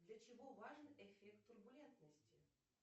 для чего важен эффект турбулентности